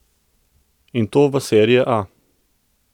In to v serie A!